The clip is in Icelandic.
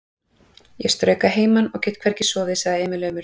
Ég strauk að heiman og ég get hvergi sofið, sagði Emil aumur.